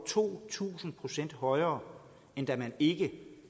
to tusind procent højere end da der ikke